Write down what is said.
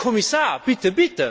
Aber Herr Kommissar, bitte!